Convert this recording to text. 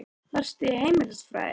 Varstu í heimilisfræði?